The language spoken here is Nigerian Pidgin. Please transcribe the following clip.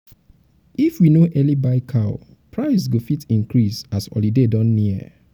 if if we no early buy cow um price go fit increase as um holiday don near.